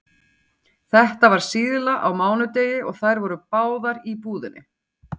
Þetta var síðla á mánudegi og þær voru báðar í búðinni.